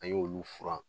An y'olu furan